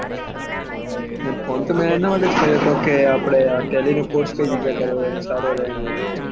phone તો હું એના માટે કર્યું હોય કે આપળે ટેલી નું કોર્ષ કઈ જગ્યા કરવાનું સારું રેહ હે